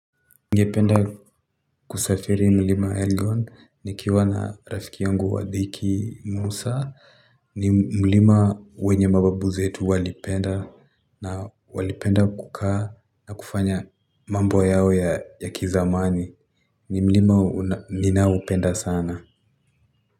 Ningependa kusafiri mlima Elgon nikiwa na rafiki yangu wa dhiki Musa ni mlima wenye mababu zetu walipenda na walipenda kukaa na kufanya mambo yao ya kizamani ni mlima ninao upenda sana.